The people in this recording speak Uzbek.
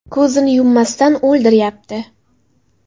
Ko‘zini yummasdan o‘ldiryapti.